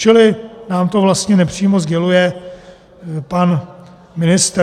Čili nám to vlastně nepřímo sděluje pan ministr.